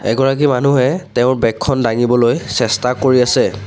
এগৰাকী মানুহে তেওঁৰ বেগ খন দাঙিবলৈ চেষ্টা কৰি আছে।